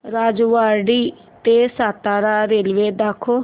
राजेवाडी ते सातारा रेल्वे दाखव